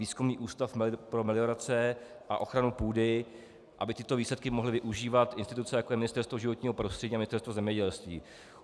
Výzkumný ústav pro meliorace a ochranu půdy, aby tyto výsledky mohly využívat instituce, jako je Ministerstvo životního prostředí a Ministerstvo zemědělství.